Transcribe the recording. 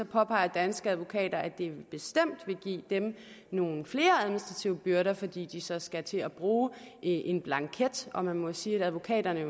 påpeger danske advokater at det bestemt vil give dem nogle flere administrative byrder fordi de så skal til at bruge en blanket og man jo sige at advokaterne